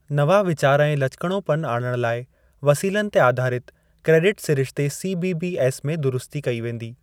नवां वीचार ऐं लचकिणोपन आणण लाइ वसीलनि ते आधारित क्रेडिट सिरिश्ते सीबीबीएस में दुरुस्ती कई वेंदी।